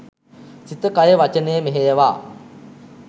සිත කය වචනය මෙහෙයවා